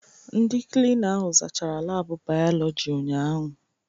Ndị Klina ahụ zaachara laabụ bayoloji ụnyaahụ.